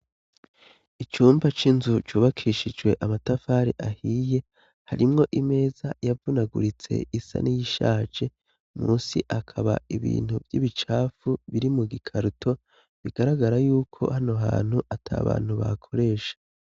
Icumba c'inzu cubakishijwe amatafari ahiye, harimwo imeza yavunaguritse isa n'iyishaje, musi hakaba ibintu vy'ibicafu biri mu gikarato, bigaragara yuko hano hantu ata bantu bakoresha.